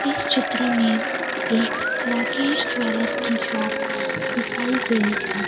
इस चित्र में एक राकेश ज्वेलर्स की शॉप दिखाई गई है।